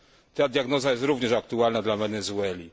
Ta diagnoza jest również aktualna dla Wenezueli.